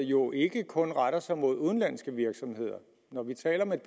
jo ikke kun retter sig mod udenlandske virksomheder når vi taler om et